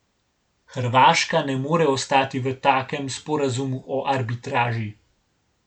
Hrvaška ne more ostati v takem sporazumu o arbitraži.